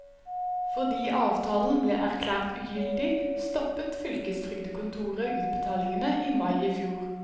Fordi avtalen ble erklært ugyldig, stoppet fylkestrygdekontoret utbetalingene i mai i fjor.